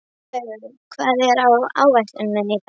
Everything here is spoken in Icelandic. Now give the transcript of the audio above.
Kristlaugur, hvað er á áætluninni minni í dag?